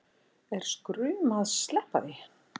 Er skrum að sleppa því